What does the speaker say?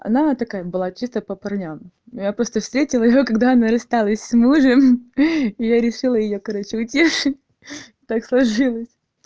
она такая было чисто по парням но я просто встретила её когда она рассталась с мужем я решила её короче утешить так сложилось